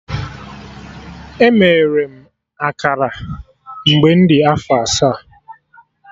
Emere m akara mgbe m dị afọ asaa